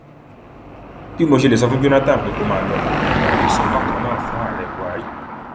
bí mo ṣe lè sọ fún jonathan pé kó máa lọ mo gbọdọ lè sọ bákan náà fún ààrẹ buhari